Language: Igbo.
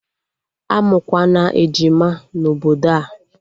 Amụkwana ejima na obodo a!